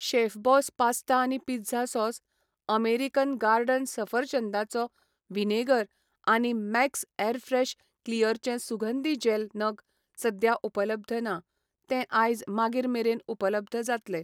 Chef Boss pasta आनी pizza sauce, American garden सफरचंदाचो vinegar आनी मॅक्स ऍरफ्रेश क्लिअरचे सुगंधी जॅल नग सद्या उपलब्ध ना, ते आयज मागीर मेरेन उपलब्ध जातले.